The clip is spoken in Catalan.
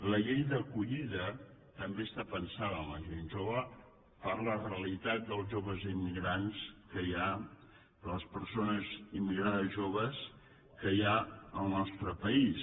la llei d’acollida també està pensada per a la gent jove per a la realitat dels joves immigrants que hi ha de les persones immigrades joves que hi ha al nostre país